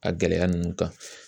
A gɛlɛya ninnu kan